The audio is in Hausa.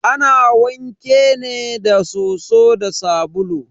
Ana wanke ne da soso da sabulu.